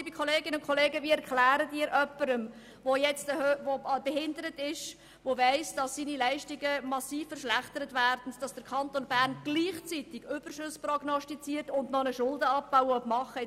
Liebe Kolleginnen und Kollegen, wie erklären wir jemandem, der behindert ist, der weiss, dass seine Leistungen massiv verschlechtert werden, dass der Kanton Bern gleichzeitig Überschüsse prognostiziert und auch noch Schulden abbauen will?